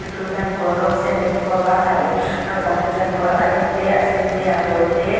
tu hian kawr rawng sen leh kekawr var ha in naupang te chuan kawr a eng te a sen te a pawl te--